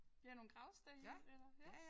Ja nogle gravsten eller ja